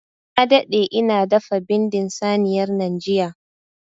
Na daɗe ina dafa bindin saniyar nan jiya.